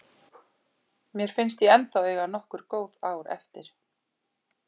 Mér finnst ég ennþá eiga nokkur góð ár eftir.